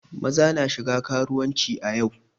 Maza na shiga karuwanci a yau.